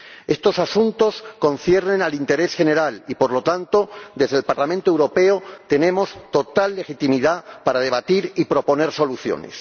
Estos asuntos conciernen al interés general y, por lo tanto, desde el Parlamento Europeo tenemos total legitimidad para debatir y proponer soluciones.